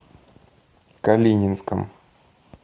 калининском